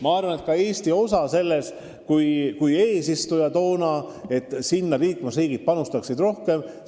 Ma arvan, et eesistujana oli Eesti osa selles, et liikmesriigid panustaksid fondi rohkem, päris suur.